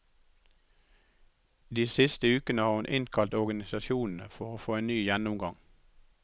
De siste ukene har hun innkalt organisasjonene for å få en ny gjennomgang.